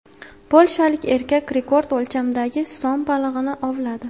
Polshalik erkak rekord o‘lchamdagi som balig‘ini ovladi.